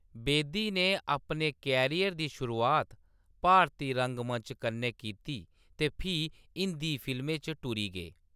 बेदी ने अपने करियर दी शुरुआत भारती रंगमंच कन्नै कीती ते फ्ही हिंदी फिल्में च टुरी गे।